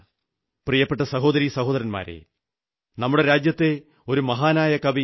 പ്രിയപ്പെട്ട സഹോദരീ സഹോദരന്മാരേ നമ്മുടെ രാജ്യത്തെ ഒരു മഹാനായ കവി ശ്രീ